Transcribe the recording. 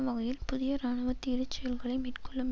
வகையில் புதிய இராணுவ தீரச் செயல்களை மேற்கொள்ளும்